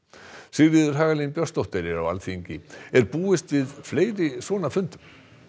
Sigríður Hagalín Björnsdóttir er á Alþingi er búist við fleiri svona fundum